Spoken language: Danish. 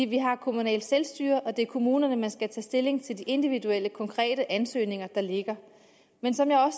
vi har kommunalt selvstyre og det er kommunerne der skal tage stilling til de individuelle konkrete ansøgninger der ligger men som jeg